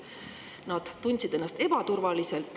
Nad tundsid ennast ebaturvaliselt.